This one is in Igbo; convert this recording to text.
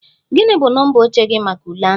Gị bụ nọmba oche gị maka ule ahụ?